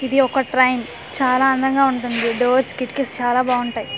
ఇది ఒక ట్రైన్ చాలా అందంగా ఉంటుంది డోర్స్ కిటికీస్ చాలా బావుంటాయ్.